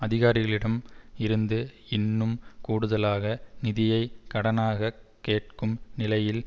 அதிகாரிகளிடம் இருந்து இன்னும் கூடுதலாக நிதியை கடனாக கேட்கும் நிலையில்